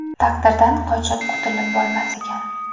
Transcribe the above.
Taqdirdan qochib qutulib bo‘lmas ekan.